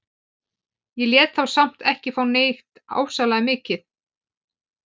Ég lét þá samt ekki fá neitt ofsalega mikið.